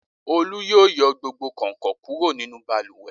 Olú yóò yọ gbogbo kàǹkàn kúrò nínú balùwẹ̀.